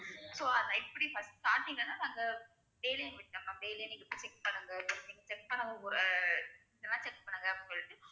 so அதை இப்படி first பார்த்தீங்கன்னா நாங்க daily யும் daily யும் நீங்க போய் check பண்ணுங்க check பண்ணுங்க ஒரு அப்படின்னு சொல்லிட்டு